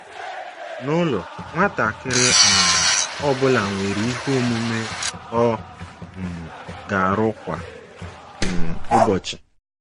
N'ụlọ, nwatakịrị um ọ bụla nwere ihe omume ọ um ga-arụ kwa um ụbọchị.